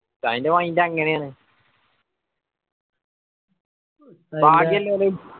ഉസ്താദിനെ mind അങ്ങേനെയാണ്